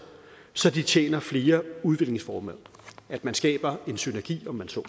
så de tjener flere udviklingsformål at man skaber en synergi om man så